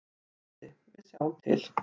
Broddi: Við sjáum til.